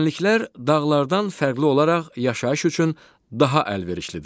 Düzənliklər dağlardan fərqli olaraq yaşayış üçün daha əlverişlidir.